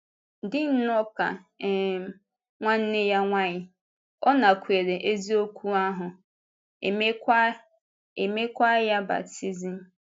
Dị nnọọ ka um nwanne ya nwanyị, ọ nakwèrè eziokwu ahụ, e meekwa e meekwa ya baptizim.